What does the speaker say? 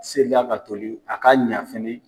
Sela ka tobi, a ka ɲa fɛnɛ.